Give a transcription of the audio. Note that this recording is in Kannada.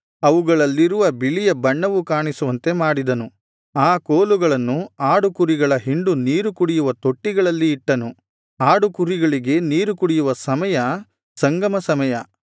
ಅವುಗಳಲ್ಲಿರುವ ಬಿಳಿಯ ಬಣ್ಣವು ಕಾಣಿಸುವಂತೆ ಮಾಡಿದನು ಆ ಕೋಲುಗಳನ್ನು ಆಡುಕುರಿಗಳ ಹಿಂಡು ನೀರು ಕುಡಿಯುವ ತೊಟ್ಟಿಗಳಲ್ಲಿ ಇಟ್ಟನು ಆಡುಕುರಿಗಳಿಗೆ ನೀರು ಕುಡಿಯುವ ಸಮಯ ಸಂಗಮ ಸಮಯ